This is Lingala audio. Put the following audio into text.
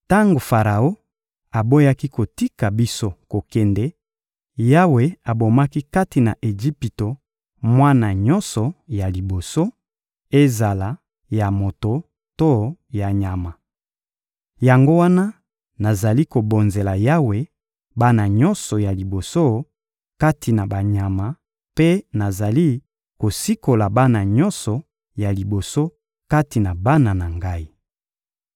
Tango Faraon aboyaki kotika biso kokende, Yawe abomaki kati na Ejipito mwana nyonso ya liboso, ezala ya moto to ya nyama. Yango wana nazali kobonzela Yawe bana nyonso ya liboso kati na banyama mpe nazali kosikola bana nyonso ya liboso kati na bana na ngai.›